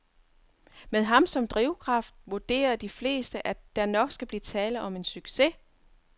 Med ham som drivkraft vurderer de fleste, at der nok skal blive tale om en succes.